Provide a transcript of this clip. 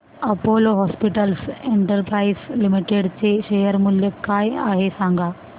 Apollo hospitals enterprise limited चे share मूल्य काय आहे सांगा